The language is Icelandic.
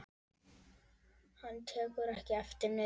Hann tekur ekki eftir neinu.